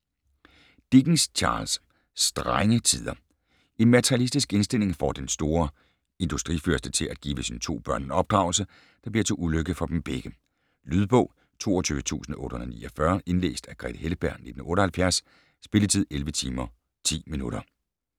Dickens, Charles: Strenge tider En materialistisk indstilling får den store industrifyrste til at give sine to børn en opdragelse, der bliver til ulykke for dem begge. Lydbog 22849 Indlæst af Grethe Heltberg, 1978. Spilletid: 11 timer, 10 minutter.